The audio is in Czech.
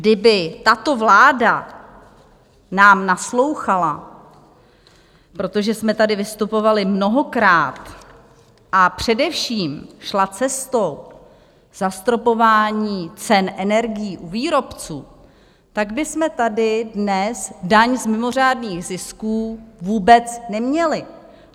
Kdyby tato vláda nám naslouchala, protože jsme tady vystupovali mnohokrát, a především šla cestou zastropování cen energií u výrobců, tak bychom tady dnes daň z mimořádných zisků vůbec neměli.